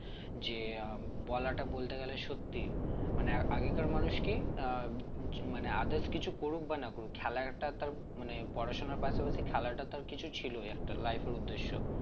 যে আহ বলাটা বলতে গেলে সত্যি মানে আগেকার মানুষ কি আহ মানে others কিছু করুক বা না করুক খেলায় একটা তার মানে পড়াশোনার পাশাপাশি খেলাটা তার কিছু ছিলই একটা life এর উদ্দেশ্য